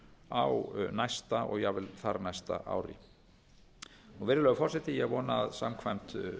á næsta og jafnvel þar næsta ári virðulegi forseti ég vona að samkvæmt